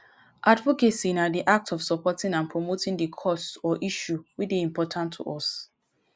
advocacy na di act of supporting and promoting di cause or issue wey dey important to us.